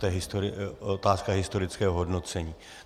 To je otázka historického hodnocení.